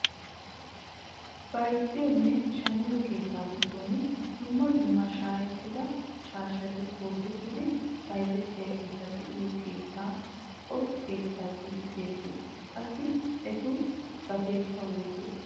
Bayzziyoonne shammiyoo keettaa giddon dumma dumma shayettida shaashati goozettidi bayzzettiyaageta be'iyoo keettaa o keettaa giidi xegiyoo? qassi etu gateekka woysee?